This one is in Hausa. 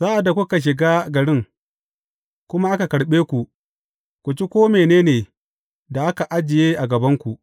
Sa’ad da kuka shiga garin, kuma aka karɓe ku, ku ci ko mene ne da aka ajiye a gabanku.